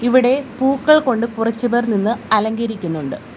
ഇവിടെ പൂക്കൾ കൊണ്ട് കുറച്ചുപേർ നിന്ന് അലങ്കരിക്കുന്നുണ്ട്.